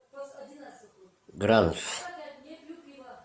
гранж